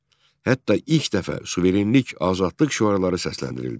Hətta ilk dəfə suverenlik, azadlıq şüarları səsləndirildi.